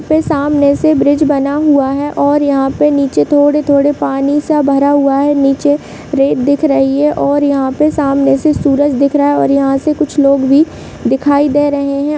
उसके सामने से ब्रिज बना हुआ है और यहाँ पे थोड़े-थोड़े पानी सा भरा हुआ है नीच रेत दिख रही है और यहाँ पे सामने से सूरज दिखाई दे रहा है और यहाँ से कुछ लोग भी दिखाई दे रहे है।